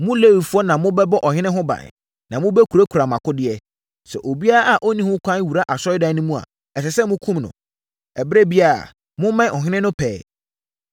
Mo Lewifoɔ na mobɛbɔ ɔhene ho ban, na mobɛkurakura mo akodeɛ. Sɛ obiara a ɔnni ho kwan wura Asɔredan no mu a, ɛsɛ sɛ wɔkum no. Ɛberɛ biara, mommɛn ɔhene no pɛɛ.”